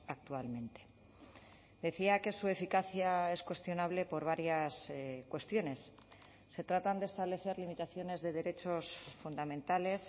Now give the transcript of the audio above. actualmente decía que su eficacia es cuestionable por varias cuestiones se tratan de establecer limitaciones de derechos fundamentales